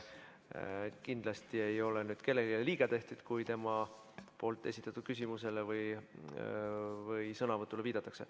Kindlasti ei ole siin nüüd kellelegi liiga tehtud, kui tema esitatud küsimusele või sõnavõtule viidatakse.